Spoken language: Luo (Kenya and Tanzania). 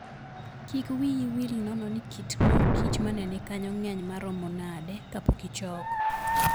Kik wiyi wil nono ni kit mor kich ma ne ni kanyo ng'eny maromo nade kapok ichoko.